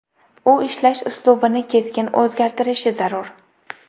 U ishlash uslubini keskin o‘zgartirishi zarur.